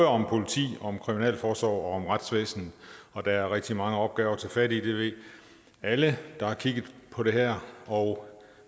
om politi om kriminalforsorg og om retsvæsen og der er rigtig mange opgaver at tage fat i det ved alle der har kigget på det her og